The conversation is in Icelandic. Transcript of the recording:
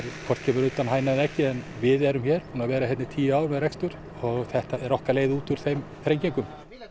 hvort kemur á undan hænan eða eggið en við erum búin að vera hér í tíu ár með rekstur og þetta er okkar leið út úr þeim þrengingum